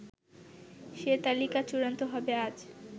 সে তালিকা চূড়ান্ত হবে আজ